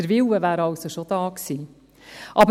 Der Wille wäre also schon vorhanden gewesen.